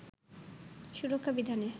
সুরক্ষা বিধানে